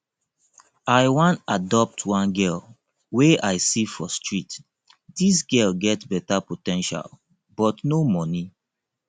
i wan adopt one girl wey i see for street dis girl get beta po ten tial but no money